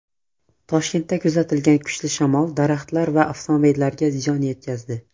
Toshkentda kuzatilgan kuchli shamol daraxtlar va avtomobillarga ziyon yetkazdi .